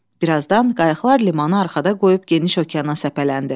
Bir azdan qayıqlar limanı arxada qoyub geniş okeana səpələndi.